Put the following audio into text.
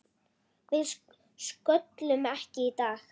Við sköllum ekki í dag!